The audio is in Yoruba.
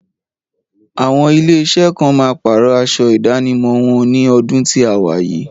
Àwọn ilé iṣẹ́ kan máa pàrọ̀ aṣọ ìdánimọ̀ wọn ní ọdún tí a wà yìí